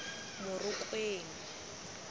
morokweng